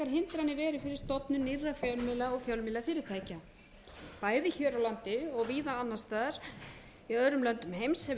nýrra fjölmiðla og fjölmiðlafyrirtækja bæði hér á landi og víða annars staðar í öðrum löndum heims hefur